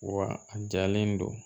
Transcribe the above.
Wa a jalen don